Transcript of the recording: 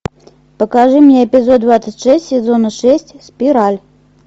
покажи мне эпизод двадцать шесть сезона шесть спираль